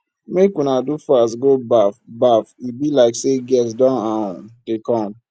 make una do fast go baff baff e be like say guest don um dey come